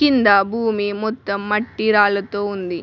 కింద భూమి మొత్తం మట్టి రాళ్లతో ఉంది.